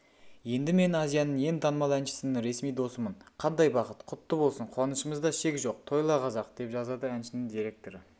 енді мен азияның ең танымал әншісінің ресми досымын қандай бақыт құтты болсын қуанышымызда шек жоқ тойла қазақ деп жазады әншінің директоры